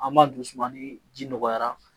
An b'a dusumani ji nɔgɔyara